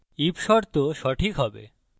if শর্ত সঠিক হবে